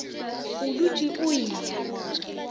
o dutše o e ya